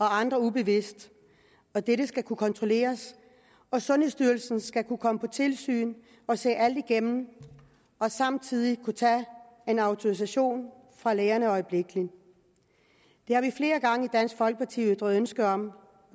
andre ubevidst og dette skal kunne kontrolleres sundhedsstyrelsen skal kunne komme på tilsyn og se alt igennem og samtidig kunne tage en autorisation fra lægerne øjeblikkelig det har vi flere gange i dansk folkeparti ytret ønske om og